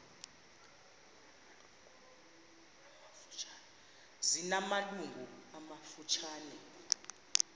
zina malungu amafutshane